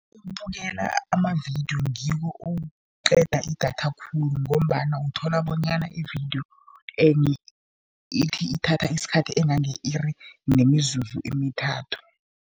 Ukubukela amavidiyo ngikho okuqeda idatha khulu ngombana uthola bonyana ividiyo ithi ithatha isikhathi engange-iri nemizuzu emithathu.